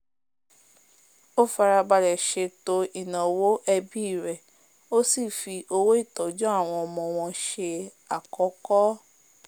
o farabalẹ̀ sètò ìnáwó ẹbí rẹ̀ ó sì fi owó ìtọ́jú àwọn ọmọ wọn se àkọ́kọ́